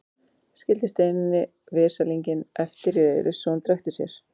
Skildi Steinunni veslinginn eftir í reiðileysi svo að hún drekkti sér.